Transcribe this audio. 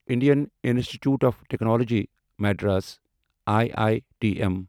Indian Institute of Technology Madras I I T M